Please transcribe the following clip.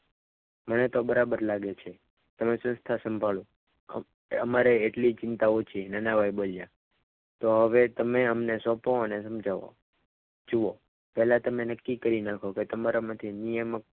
મને તો બરાબર લાગે છે તમે સંસ્થા સંભાળો અમારે એટલી ચિંતા ઓછી નાનાભાઈ બોલ્યા તો હવે તમે અમને સોંપો અને તમે જાઓ જુઓ પહેલા તમે નક્કી કરી નાખો કે તમારામાંથી નિયમો